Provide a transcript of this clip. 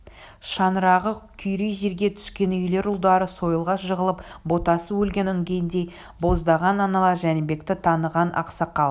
шаңырағы күйрей жерге түскен үйлер ұлдары сойылға жығылып ботасы өлген інгендей боздаған аналар жәнібекті таныған ақсақал